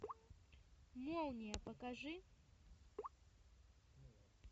молния покажи